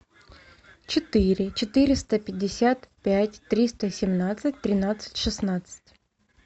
четыре четыреста пятьдесят пять триста семнадцать тринадцать шестнадцать